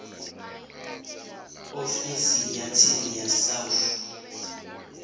ofisi ya tsini ya south